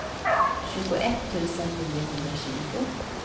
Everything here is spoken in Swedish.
tjugoett tusen niohundratjugo